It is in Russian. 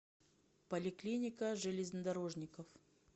поликлиника железнодорожников